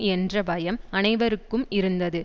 என்ற பயம் அனைவருக்கும் இருந்தது